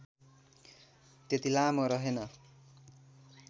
त्यति लामो रहेन